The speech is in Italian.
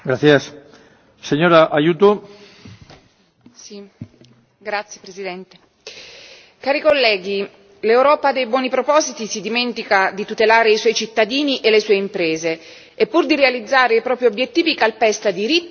Signor Presidente, onorevoli colleghi, l'Europa dei buoni propositi si dimentica di tutelare i suoi cittadini e le sue imprese, e pur di realizzare i propri obiettivi calpesta diritti e regole.